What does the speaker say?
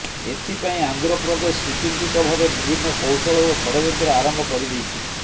ଏଥିପାଇଁ ଆନ୍ଧ୍ରପ୍ରଦେଶ ସୁଚିନ୍ତିତ ଭାବେ ବିଭିନ୍ନ କୌଶଳ ଓ ଷଡ଼ଯନ୍ତ୍ର ଆରମ୍ଭ କରିଦେଇଛି